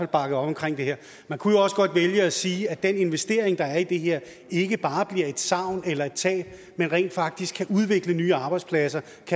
bakkede op om det her man kunne jo også godt vælge at sige at den investering der er i det her ikke bare bliver et savn eller et tab men rent faktisk kan udvikle nye arbejdspladser